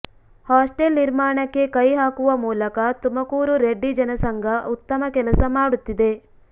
hostel ನಿರ್ಮಾಣಕ್ಕೆ ಕೈ ಹಾಕುವ ಮೂಲಕ ತುಮಕೂರು ರೆಡ್ಡಿ ಜನಸಂಘ ಉತ್ತಮ ಕೆಲಸ ಮಾಡುತ್ತಿದೆ